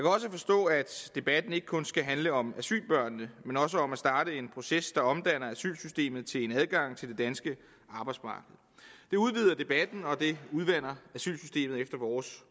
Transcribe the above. også forstå at debatten ikke kun skal handle om asylbørnene men også om at starte en proces der omdanner asylsystemet til en adgang til det danske arbejdsmarked det udvider debatten og det udvander efter vores